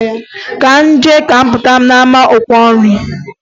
Ka m jee ka m Pụta na-ama ọkwa nri.